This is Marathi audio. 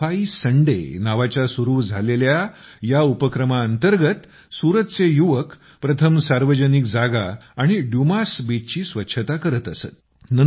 सफाई संडे नावाच्या सुरू झालेल्या या उपक्रमांतर्गत सुरतचे युवक प्रथम सार्वजनिक जागा आणि ड्यूमास बीचची स्वच्छता करत असत